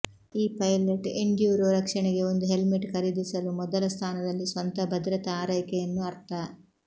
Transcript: ಈ pilot enduro ರಕ್ಷಣೆಗೆ ಒಂದು ಹೆಲ್ಮೆಟ್ ಖರೀದಿಸಲು ಮೊದಲ ಸ್ಥಾನದಲ್ಲಿ ಸ್ವಂತ ಭದ್ರತಾ ಆರೈಕೆಯನ್ನು ಅರ್ಥ